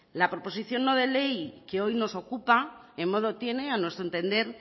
la proposición no de ley que hoy nos ocupa en modo tiene a nuestro entender